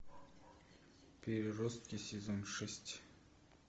переростки сезон шесть